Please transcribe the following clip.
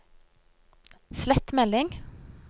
slett melding